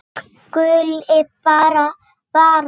Hún skuli bara vara sig.